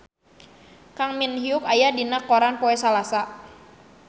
Kang Min Hyuk aya dina koran poe Salasa